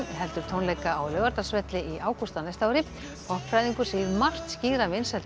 heldur tónleika á Laugardalsvelli í ágúst á næsta ári segir margt skýra vinsældir